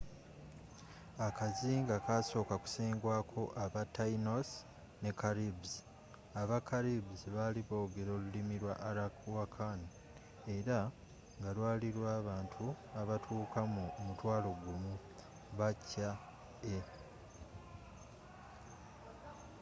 akazinga kasooka kusengwako aba taínos ne caribes. aba caribes bali boogera olulimi lwa arawakan era ngalwali lwabantu abatuuka mu 10,000 bce